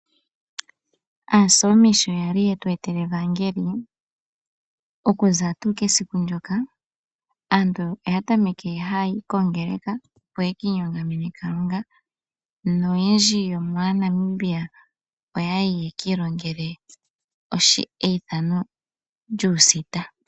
Aasoomi shoyali yetu etele evangeli okuza tuu kesiku lyoka aantu oya tameke haya yi kongeleka opo yeki inyongamene Kalunga. Noyendji yo maaNamibia oya yi ye kiilongelele eithano lyuusita .